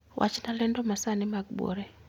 Wachna lendo masani mag buore